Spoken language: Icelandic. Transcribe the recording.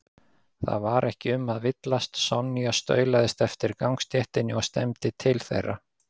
Það var ekki um að villast, Sonja staulaðist eftir gangstéttinni og stefndi til þeirra.